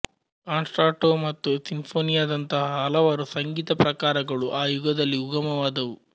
concerto ಮತ್ತು ಸಿನ್ಫೋನಿಯಾದಂತಹ ಹಲವಾರು ಸಂಗೀತ ಪ್ರಕಾರಗಳು ಆ ಯುಗದಲ್ಲಿ ಉಗಮವಾದವು